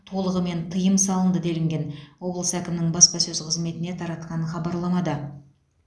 толығымен тыйым салынды делінген облыс әкімінің баспасөз қызметіне таратқан хабарламада